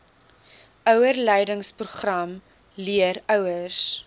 ouerleidingsprogram leer ouers